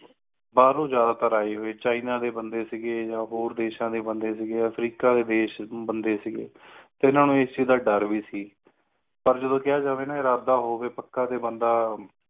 ਬਾਹਰ ਤੋਂ ਜ਼ਿਆਦਾ ਤਾਰ ਆਏ ਹੂਏ china ਦੇ ਆ ਹੋਰ ਦੇਇਸ਼ਾਂ ਦੇ ਬੰਦੇ ਸੀ ਗਏ ਆ africa ਦੇ ਡਿਸ਼ ਸੀ ਗੇ